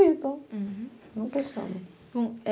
Então, uhum, não questiona.